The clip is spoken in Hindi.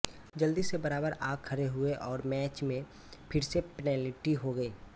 जल्दी से बराबर आ खड़े हुए और मैच में फिर से पेनाल्टी हो गई